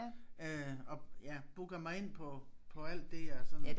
Øh og ja booker mig ind på på alt det jeg sådan